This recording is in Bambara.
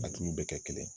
A dun bɛ kɛ kelen ye